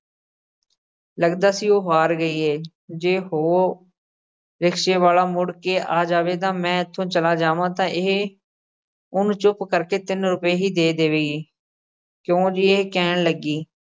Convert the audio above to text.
ਲੱਗਦਾ ਸੀ ਉਹ ਹਾਰ ਗਈ ਏ। ਜੇ ਉਹ rickshaw ਵਾਲਾ ਮੁੜ ਕੇ ਆ ਜਾਵੇ ਤਾਂ ਮੈਂ ਇੱਥੋਂ ਚਲਾ ਜਾਵਾਂ ਤਾਂ ਇਹ ਉਹਨੂੰ ਚੁੱਪ ਕਰਕੇ ਤਿੰਨ ਰੁਪਏ ਹੀ ਦੇ ਦੇਵੇਗੀ। ਕਿਉਂ ਜੇ ਇਹ ਕਹਿਣ ਲੱਗੀ